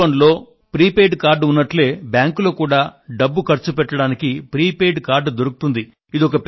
mobile phone లో prepaid card ఉన్నట్లే బ్యాంకులో కూడా డబ్బు ఖర్చుపెట్టడానికి ప్రీపెయిడ్ కార్డు దొరుకుతుంది